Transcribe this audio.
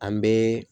An bɛ